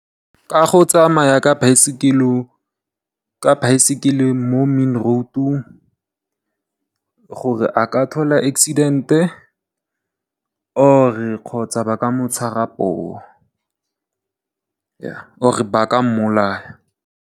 Ka go tsamaya ka baesekele mo main road gore a ka thola accident kgotsa ba ka motshwara poo or e baka mmolaya.